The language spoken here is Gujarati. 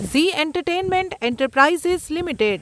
Zee entertainment enterprises limited